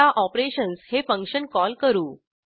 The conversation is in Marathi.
आता ऑपरेशन्स हे फंक्शन कॉल करू